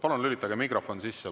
Palun lülitage mikrofon sisse.